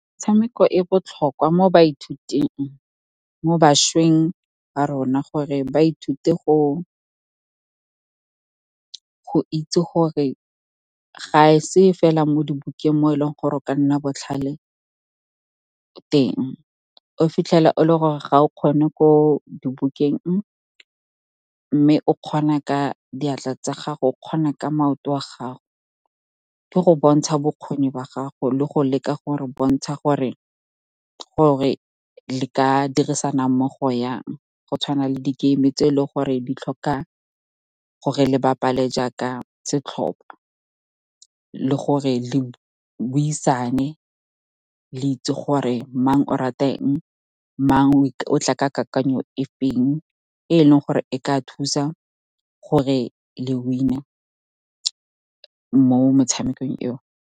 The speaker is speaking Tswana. Metshameko e botlhokwa mo bašweng ba rona gore ba ithute go itse gore ga e se fela mo dibukeng, mo e leng gore o ka nna botlhale teng. O fitlhela e le gore ga o kgone ko dibukeng mme o kgona ka diatla tsa gago, o kgona ka maoto a gago. Ke go bontsha bokgoni ba gago le go leka gore bontsha gore le ka dirisana mmogo jang. Go tshwana le di-game tse e leng gore di tlhoka gore le bapale jaaka setlhopha, le gore le buisane, le itse gore mang o rata eng, mang o tla ke kakanyo efeng, e e leng gore e ka thusa gore le win-e mo motshamekong eo.